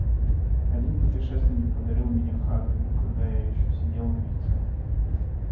один путешественник подарил меня хагриду когда я ещё сидел в яйце